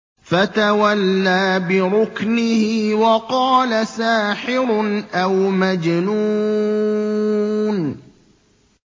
فَتَوَلَّىٰ بِرُكْنِهِ وَقَالَ سَاحِرٌ أَوْ مَجْنُونٌ